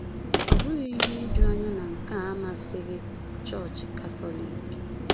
Ọ bụghị ihe ijuanya na nke a amasịghị Chọọchị Katọlik.